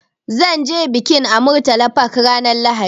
Zan ce bikin a Murtala Park ranar Lahadi.